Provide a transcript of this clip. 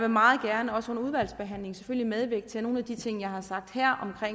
meget gerne også under udvalgsbehandlingen medvirke til at nogle af de ting jeg har sagt her om